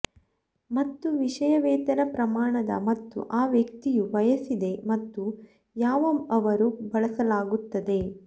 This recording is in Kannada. ಮತ್ತು ವಿಷಯ ವೇತನ ಪ್ರಮಾಣದ ಮತ್ತು ಆ ವ್ಯಕ್ತಿಯು ಬಯಸಿದೆ ಮತ್ತು ಯಾವ ಅವರು ಬಳಸಲಾಗುತ್ತದೆ